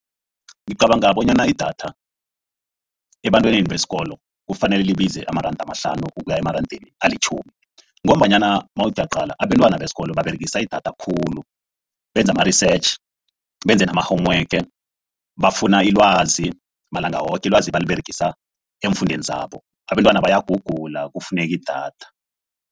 Ngicabanga bonyana idatha ebantwaneni besikolo kufanele libize amaranda amahlanu ukuya emarandeni alitjhumi, ngombanyana mawuthi uyaqala, abentwana besikolo baberegisa idatha khulu benza ama-research, benze nama-home work, bafuna ilwazi malanga woke. Ilwazi abaliberegisa eemfundweni zabo. Abentwana bayagugula kufuneka idatha.